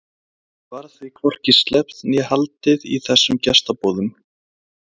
Það varð því hvorki sleppt né haldið í þessum gestaboðum.